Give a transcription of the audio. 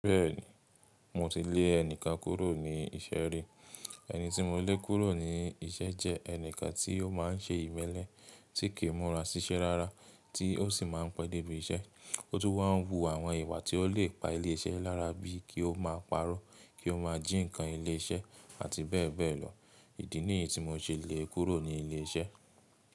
Bẹ́ẹ̀ni mo ti lè ẹnìkan kúrò ní isẹ́ rí. Ẹni tí mo lé kúrò ní isẹ́ jẹ́ ẹnìkan tí ó máa ń ṣe ìmẹ́lẹ́ tí kì í múra ṣiṣẹ́ rárá, tí ó sì máa ń pẹ́ débi iṣẹ́. Ó tún wá ń wu àwọn ìwà tí ó lè pa ilé iṣẹ́ lára bí i kí ó máa parọ́, kí ó máa jí ǹkan ilé iṣẹ́ àti bẹ́ẹ̀ bẹ́ẹ̀ lọ. Ìdí nìyí tí mo ṣe lé e kúrò ní ilé iṣẹ́.